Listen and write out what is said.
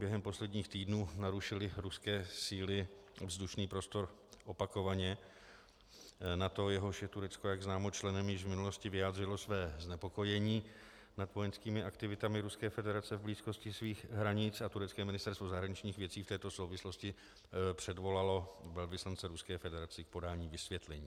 Během posledních týdnů narušily ruské síly vzdušný prostor opakovaně: NATO, jehož je Turecko, jak známo, členem, již v minulosti vyjádřilo své znepokojení nad vojenskými aktivitami Ruské federace v blízkosti svých hranic a turecké ministerstvo zahraničních věcí v této souvislosti předvolalo velvyslance Ruské federace k podání vysvětlení.